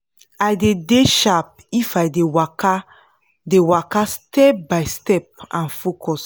i dey dey sharp if i dey waka dey waka step by step and focus